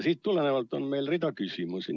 Sellest tulenevalt on meil rida küsimusi.